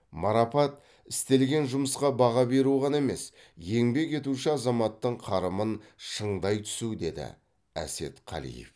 марапат істелген жұмысқа баға беру ғана емес еңбек етуші азаматтың қарымын шыңдай түсу деді әсет қалиев